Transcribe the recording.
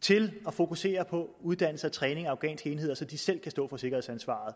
til at fokusere på uddannelse og træning af afghanske enheder så de selv kan stå for sikkerhedsansvaret